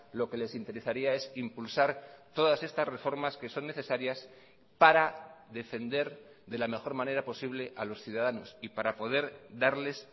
lo que les interesaría es impulsar todas estas reformas que son necesarias para defender de la mejor manera posible a los ciudadanos y para poder darles